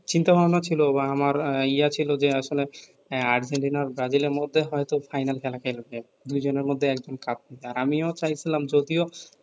চিন্তা ভাবনা ছিলও বা আমার ইয়া ছিলও যে আসলে হ্যাঁ আর্জেন্টিনা ব্রাজিল এর মধ্যে হয়তো ফাইনাল খেলাবে দুই জনের মধ্যে একজন কাপ নিবে আমিও চাইছিলাম যদিও